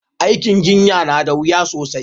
Aikin jinya na da wuya sosai